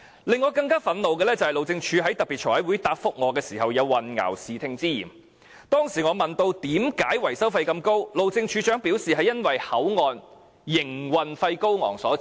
令我更憤怒的是，路政署在財委會特別會議答覆我時有混淆視聽之嫌，當時我問及為甚麼維修費這麼高昂，路政署署長表示，是由於口岸營運費高昂所致。